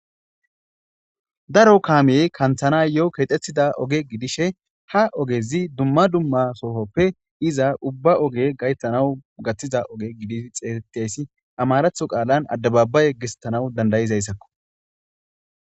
daro kaamiyey kanthana yo7o keexxethida oge gidishe ha ogezi dumma dumma sohoppe iza ubba oge gayttanaw gaththiza oge gidi xeexettaysi amaratho qaalan addababa yeggestanaw dandayizayssakko